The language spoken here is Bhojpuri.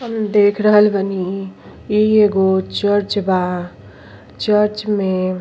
हम देख रहल बानी इ एगो चर्च बा चर्च में --